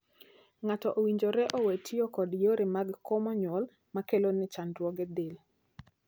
Ng'ato owinjore owee tiyo kod yore mag komo nyuol makelone chandruoge del.